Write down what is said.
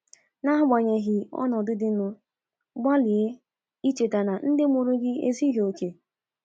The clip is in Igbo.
N’agbanyeghị ọnọdụ dịnụ, gbalịa icheta na ndị mụrụ gị ezughị okè.